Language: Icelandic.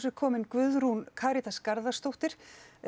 er komin Guðrún Karítas Garðarsdóttir